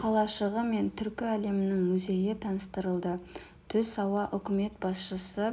қалашығы мен түркі әлемінің музейі таныстырылды түс ауа үкімет басшысы